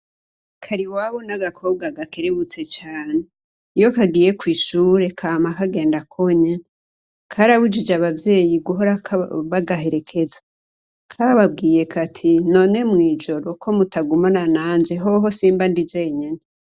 Kariwabo n'agakobwa gakerebutse cane, iyo kagiye kw'ishure kama kagenda konyene, karabujije abavyeyi guhora bagaherekeza kababwiye kati none mw'ijoro ko mutagumana nanje hoho simba ndi jenyene.